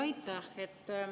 Aitäh!